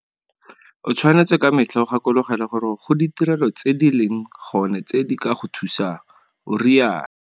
O tshwanetse ka metlha o gakologelwe gore go ditirelo tse di leng gone tse di ka go thusang, o rialo.